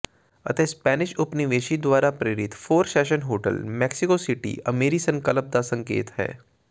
ਅਤੇ ਸਪੈਨਿਸ਼ ਉਪਨਿਵੇਸ਼ੀ ਦੁਆਰਾ ਪ੍ਰੇਰਿਤ four seasons hotel Mexico City ਅਮੀਰੀ ਸੰਕਲਪ ਦਾ ਸੰਕੇਤ ਹੈ